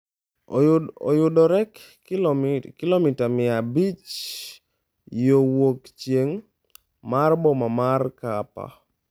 Oyudore kilomita mia abich yo wuokchieng' mar boma mar Kapa.